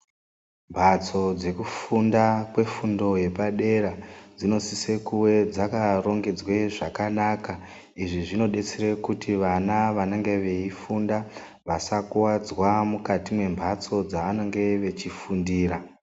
Mphatso dzekufunda kwefundo yepadera dzinosise kuve dzakarongedzwe zvakanaka izvi zvinodetsere kuti vana vanenge veifunda vasakuwadzwa mukati mwemhatso dzavanenge veifundira.